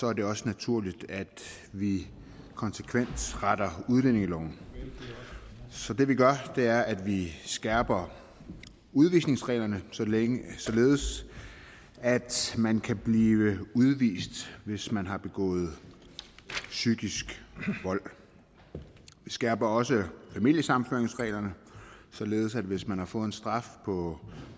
er det også naturligt at vi konsekvent retter udlændingeloven så det vi gør er at vi skærper udvisningsreglerne således således at man kan blive udvist hvis man har begået psykisk vold vi skærper også familiesammenføringsreglerne således at hvis man har fået en straf på